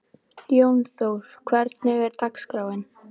Jónþór, hvernig er dagskráin?